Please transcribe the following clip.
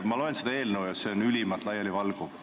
Ma loen seda eelnõu ja see on ülimalt laialivalguv.